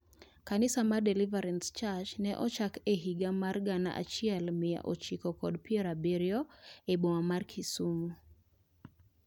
Kanisa mar Deliverance Church ne ochakore e higa mar gana achiel mia ochiko kod piero abiriyo e boma mar Kisumu.